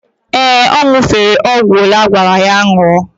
Ee, ọ ñụ̀fere ọgwụ olee agwara ya ñụọ.